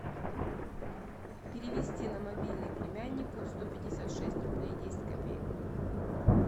перевести на мобильный племяннику сто пятьдесят шесть рублей десять копеек